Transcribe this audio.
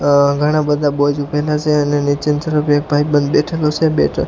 ઘણા બધા બોયઝ બેઠેલા છે અને નીચેની તરફ એક ભાઈબંધ બેઠેલો છે અને બે-ત્રણ --